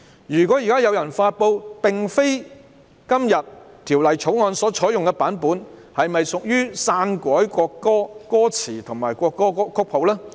若現在有人發布並非今天《條例草案》所採用的版本，是否屬"篡改國歌歌詞或國歌曲譜"呢？